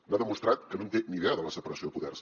m’ha demostrat que no en té ni idea de la separació de poders